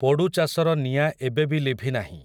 ପୋଡ଼ୁଚାଷର ନିଆଁ ଏବେ ବି ଲିଭିନାହିଁ ।